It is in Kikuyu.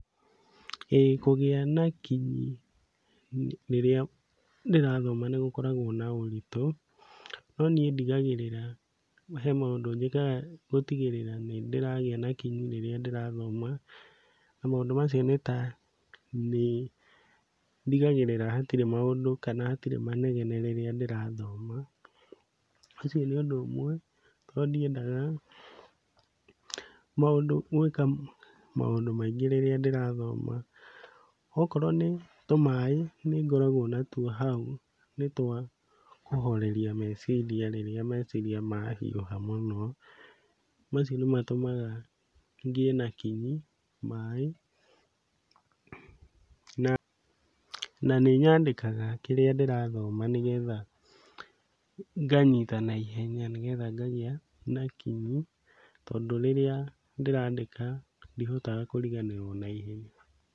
Ĩĩ kũgĩa na kinyi rĩrĩa ndĩrathoma nĩgũkoragwo na ũritũ, no niĩ ndigagĩrĩra he maũndũ njĩkaga gũtigĩrĩra nĩndĩragĩa na kinyi rĩrĩa ndĩrathoma, na maũndũ macio nĩ ta nĩndigagĩrĩra hatirĩ maũndũ kana hatirĩ manegene rĩrĩa ndĩrathoma. Ũcio nĩ ũndũ ũmwe tondũ ndiendaga maũndũ gwĩka maũndũ maingĩ rĩrĩa ndĩrathoma, okorwo nĩ tũmaĩ nĩngoragwo natuo hau nĩ twa kũhoreria meciria rĩrĩa meciria mahiũha mũno, macio nĩmatũmaga ngĩe na kinyi maĩ. Na, na nĩnyandĩkaga kĩrĩa ndĩrathoma nĩgetha nganyita naihenya nĩgetha ngagĩa na kinyi tondũ rĩrĩa ndĩrandĩka ndihotaga kũriganĩrwo naihenya.